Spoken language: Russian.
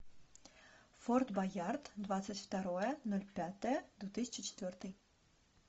форт боярд двадцать второе ноль пятое две тысячи четвертый